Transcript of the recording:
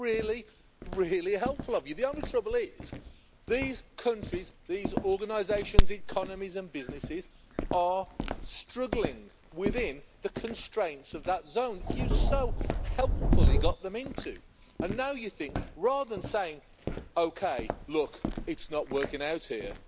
That was really, really, helpful of you. The only trouble is, these countries, these organisations, economies and businesses are struggling within the constraints of that zone you so helpfully got them into and now, rather than saying OK, look, it's not working out here.